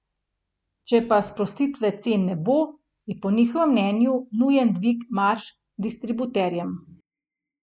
Če pa sprostitve cen ne bo, je po njihovem mnenju nujen dvig marž distributerjem.